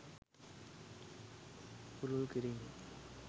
පුළුල් කිරීම